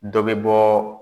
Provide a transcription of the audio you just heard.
Dɔ bɛ bɔ